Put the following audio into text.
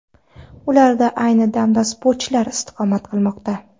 Ularda ayni damda sportchilar istiqomat qilmoqda.